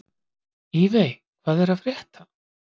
Evey, hvað er að frétta?